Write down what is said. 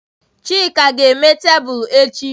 Chike ga-eme tebụl echi.